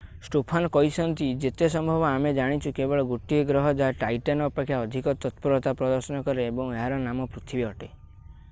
Stofan କହିଛନ୍ତି ଯେତେ ସମ୍ଭବ ଆମେ ଜାଣିଛୁ କେବଳ ଗୋଟିଏ ଗ୍ରହ ଯାହା ଟାଇଟନ୍ ଅପେକ୍ଷା ଅଧିକ ତତ୍ପରତା ପ୍ରଦର୍ଶନ କରେ ଏବଂ ଏହାର ନାମ ପୃଥିବୀ ଅଟେ